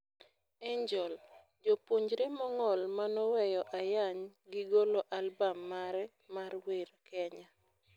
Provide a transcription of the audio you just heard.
Angel: japuonjre mong'ol manoweyo ayany gi golo albam mare mar werr kenya.